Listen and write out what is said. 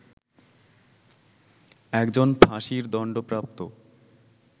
একজন ফাঁসির দণ্ডপ্রাপ্ত